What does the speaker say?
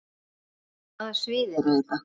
Hvaða svið eru þetta?